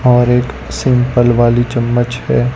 और एक सिंपल वाली चम्मच है।